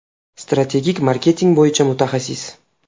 Strategik marketing bo‘yicha mutaxassis.